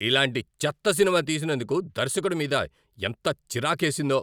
ఇలాంటి చెత్త సినిమా తీసినందుకు దర్శకుడి మీద ఎంత చిరాకేసిందో.